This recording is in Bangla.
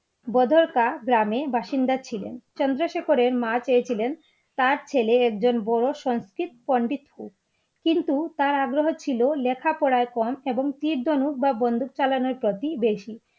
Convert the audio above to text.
বাদাড়কা গ্রামের বাসিন্দা ছিলেন চন্দ্রশেখরের মা চেয়ে ছিলেন তার ছেলে একজন বড়ো সংস্কৃত পণ্ডিত হোক, কিন্তু তার আগ্রহ ছিলো লেখা পড়ায় কম এবং তীর-ধনুক বা বন্দুক চালানোর প্রতি বেশী